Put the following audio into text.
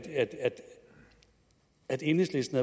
at enhedslisten